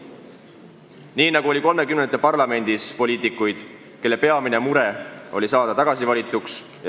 Ka 1930-ndate parlamendis oli poliitikuid, kelle peamine mure oli saada tagasi valituks.